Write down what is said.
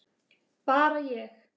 Bara ég?